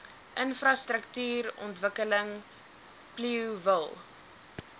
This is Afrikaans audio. infrastruktuurontwikkeling plio wil